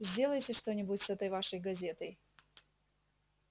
сделайте что-нибудь с этой вашей газетой